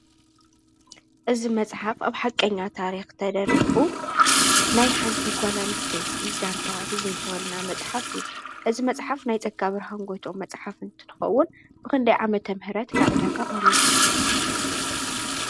እዝ መጽሓፍ ኣብ ሓቀኛ ታሪኽ ተደሪኹ ናይ ሓንቲጓላን ስተይቲ ዛንታ ዝዝንተወልና መጽሓፍ ብ እዝ መጽሓፍ ናይ ጸካብርሃንጐቶ መጽሓፍ እንትልኸውን ብኽንድ ዓመተም ህረት ናዕዳጋቕሪቡ